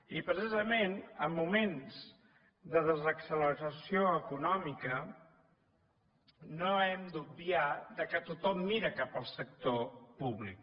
i precisament en moments de desacceleració econòmica no hem d’obviar que tothom mira cap al sector públic